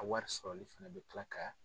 A wari sɔrɔli fana bi kila ka